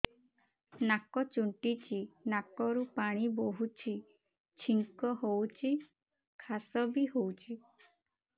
ନାକ ଚୁଣ୍ଟୁଚି ନାକରୁ ପାଣି ବହୁଛି ଛିଙ୍କ ହଉଚି ଖାସ ବି ହଉଚି